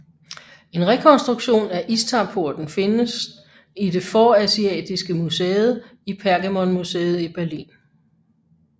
En rekonstruktion af Istarporten findes i Det forasiatiske museet i Pergamonmuseet i Berlin